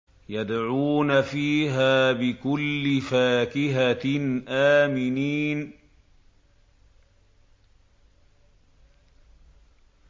يَدْعُونَ فِيهَا بِكُلِّ فَاكِهَةٍ آمِنِينَ